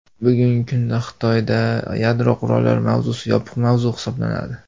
Bugungi kunda Xitoyda yadro qurollari mavzusi yopiq mavzu hisoblanadi.